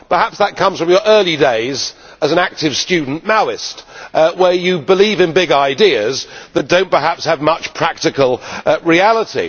Perhaps that comes from your early days as an active student Maoist, when you believed in big ideas but did not perhaps have much to do with practical reality.